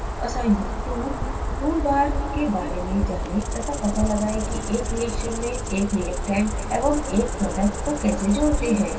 assignment 2: tool bar के बारे में जाने तथा पता लगाएं कि एक रिएक्शन में एक reactant एवं एक product को कैसे जोड़ते हैं